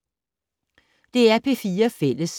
DR P4 Fælles